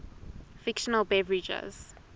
fictional beverages